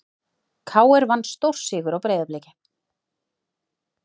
KR vann stórsigur á Breiðabliki